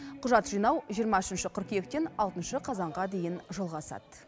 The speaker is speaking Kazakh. құжат жинау жиырма үшінші қыркүйектен алтыншы қазанға дейін жалғасады